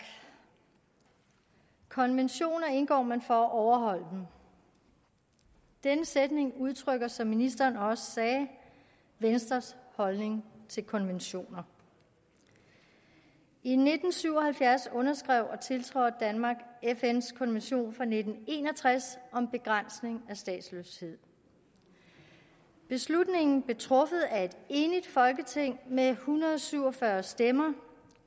konventioner indgår man for at overholde dem denne sætning udtrykker som ministeren også sagde venstres holdning til konventioner i nitten syv og halvfjerds underskrev og tiltrådte danmark fns konvention fra nitten en og tres om begrænsning af statsløshed beslutningen blev truffet af et enigt folketing med en hundrede og syv og fyrre stemmer